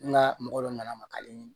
N ka mɔgɔ dɔ nana makali